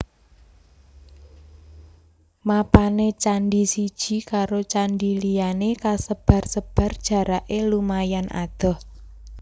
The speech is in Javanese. Mapané candhi siji karo candhi liyané kasebar sebar jaraké lumayan adoh